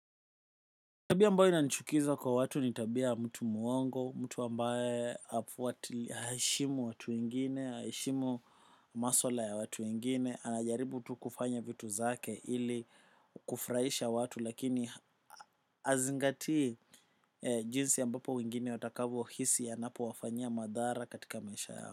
Tabia ambao inanchukiza kwa watu ni tabia ya mtu muongo, mtu ambaye haeshimu watu wengine, haeshimu maswala ya watu wengine, anajaribu tu kufanya vitu zake ili kufraisha watu lakini azingatii jinsi ambapo wengine watakavo hisi anapo wafanyia madhara katika maisha yao.